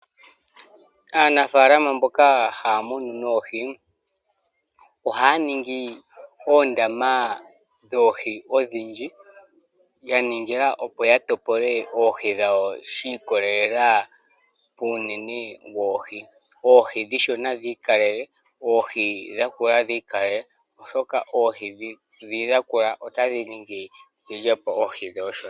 Aanafalama mboka haya munu noohi ohaya ningi oondama dhoohi odhindji ya ningila opo ya topole oohi dhawo shi ikolelela kuunene woohi. Oohi ndhono onshona dhi ikalele, oohi ndhono oonene dhi ikalele, oshoka oohi ndho oonene otadhi ningi dhi lyepo oohi ndho oonshona.